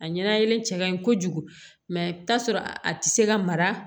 A ɲɛnalen cɛ ka ɲi kojugu t'a sɔrɔ a ti se ka mara